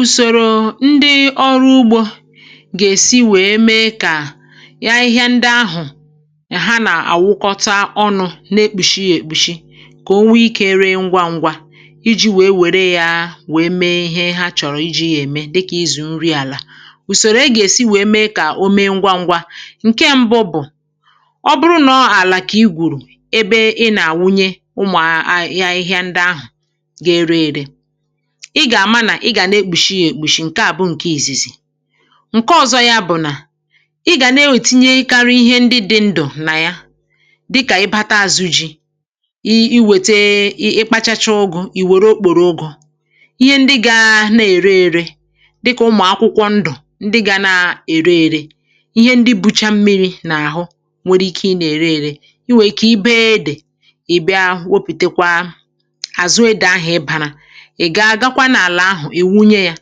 Ùsòrò ndị ọrụ ugbȯ gà-èsi wèe mee kà ya. Ahịhịa ndị ahụ̀ um, ha nà-àwụkwọta ọnụ̇, na-ekpùshi èkpùshi, kà o nwee ikė ree ngwaǹgwa iji̇ wèe wère ya, wèe mee ihe ha chọ̀rọ̀ iji̇ ya ème, dịkà izù nri àlà. Ùsòrò e gà-èsi wèe mee kà o mee ngwaǹgwa, ǹke mbụ bụ̀: ọ bụrụ nà ọọ̀la kà i gwùrù ebe ị nà-àwụnye, ụmụ̀ ahịhịa ndị ahụ̀ ga-ere ère, ị gà-àma um nà ị gà na-ekpùshi yȧ èkpùshi. Ǹkè à bụ ǹkè ìzìzì. Ǹkè ọ̀zọ ya bụ̀ nà ị gà na-enwètinyekarị ihe ndị dị̀ ndụ̀ nà ya, dịkà ibata azụ ji̇, i iwète, i kpachacha ụgụ̇, ì wère okpòrò ụgụ̇. Ihe ndị gà na-ère ere dịkà ụmụ̀ akwụkwọ ndụ̀, ndị gà na-ère ere ihe ndị bucha mmiri̇ nà àhụ, nwere ike ị nà-ère ere. Ị nwèè ike ị bịa e dì, i bịa ahụ, wopìta kwa àzụ e dị̀ ahụ̀, ibarȧ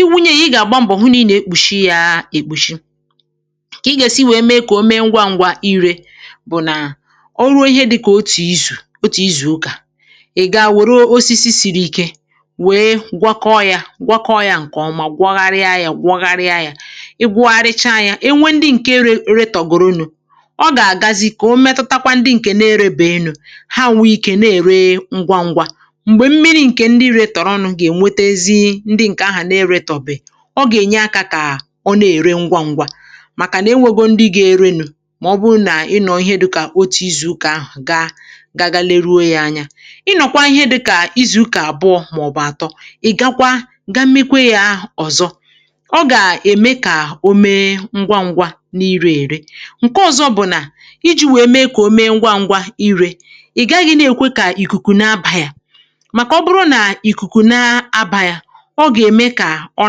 iwunye yȧ.Ị gà-àgba mbọ̀ hụ nii nà ekpùshi yȧ èkpùshi kà ị gà-èsi wèe mee kà o mee ngwa ngwa. Irė bụ̀ nà, o ruo dịkà òtù izù, òtù izù ụkà, ị̀ gaa wère osisi siri ike, wee gwọkọ yȧ, gwọkọ yȧ ǹkè ọma um, gwọgharịa yȧ, gwọgharịa yȧ. Ị gwọgwụrịcha yȧ, e nwe ndị ǹke re re tọ̀goro nụ̇, ọ gà-àgazi kà o metutakwa ndị ǹkè na-erebè elu̇ ha, wụ̇ ike, na-ère ngwa ngwa. M̀gbè mmiri̇, ǹkè ndị retòrònụ̀, ndị ǹkè ahụ̀ nà-ere tọ̀bị̀, ọ gà-ènye akȧ kà ọ na-ère ngwa ǹgwà. Màkànà enwogo ndị gà-ere nù, màọbụrụ nà ị nọ̀ọ, ihe dịkà òtù izù̇ kà ahụ̀ gaa gaa gaa, leruo yȧ anya. Ị nọ̀kwa ihe dịkà izù̇ ụkà àbụọ màọbụ̀ àtọ, ị̀ gakwa, ga-meekwe yȧ ọ̀zọ. Ọ gà-ème kà o mee ngwa ǹgwà n’iri ère. Ǹkè ọ̀zọ bụ̀ nà iji̇ wèe mee kà o mee ngwa ǹgwà irė, i gȧghị̇ na-èkwe kà ìkùkù na-abȧ yȧ. Ọ gà-ème kà ọ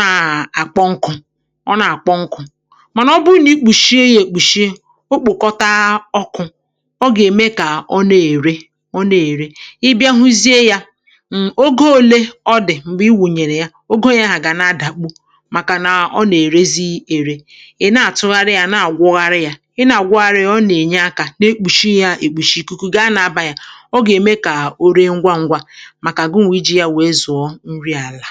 na-àkpọ nkụ̇, ọ na-àkpọ nkụ̇. Mànà ọ bụrụ nà i kpùshie ya èkpùshie um, o kpụ̀kọta ọkụ̇, ọ gà-ème kà ọ na-ère, ọ na-ère.Ị bịa hụzie yȧ ǹogȯ ole ọdì m̀gbè i wùnyèrè ya um, ogȯ yȧ hà gà na-adàgbu, màkà na ọ nà-èrezi ère. Ị̀ na-àtụgharị yȧ, na-àgwọgharị yȧ, ị na-àgwọgharị yȧ, ọ nà-ènye akȧ. Na-ekpùshi yȧ èkpùshi, ikuku gị a na-abà yà, ọ gà-ème kà o ree ngwa ṅgwȧ. Umùrù ya àlà.